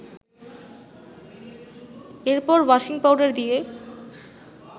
এরপর washing powder দিয়ে